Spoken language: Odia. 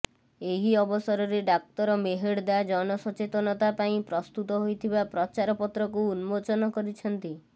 ଏହି ଅବସରରେ ଡାକ୍ତର ମେହେର୍ଦ୍ଦା ଜନସଚେତନତା ପାଇଁ ପ୍ରସ୍ତୁତ ହୋଇଥିବା ପ୍ରଚାରପତ୍ରକୁ ଉନ୍ମୋଚନ କରିଛନ୍ତି